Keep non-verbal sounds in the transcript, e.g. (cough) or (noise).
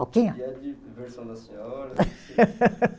E a diversão da senhora? (laughs)